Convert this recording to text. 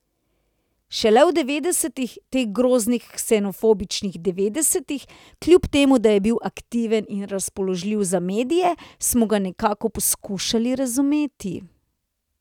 Šele v devetdesetih, teh groznih ksenofobičnih devetdesetih, kljub temu da je bil aktiven in razpoložljiv za medije, smo ga nekako poskušali razumeti ...